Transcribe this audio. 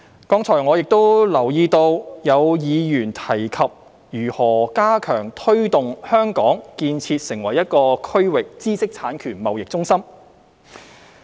剛才我亦留意到有議員提及如何加強推動香港建設成為區域知識產權貿易中心。